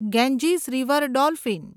Ganges river dolphin